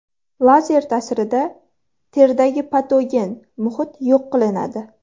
Lazer ta’sirida teridagi patogen muhit yo‘q qilinadi.